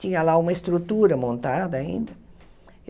Tinha lá uma estrutura montada ainda.